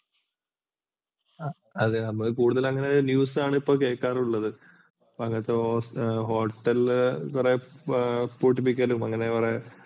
അതെ നമ്മൾ കൂടുതൽ അങ്ങനെയുള്ള news ആണ് ഇപ്പോൾ കേൾക്കാറുള്ളത്. ഇപ്പോൾ അങ്ങനത്തെ Hotel കൾ കുറെ പൂട്ടിപ്പിക്കലും അങ്ങനെ കുറെ